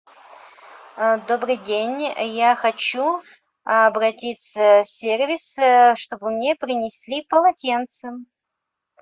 добрый день я хочу обратиться в сервис чтобы мне принесли полотенце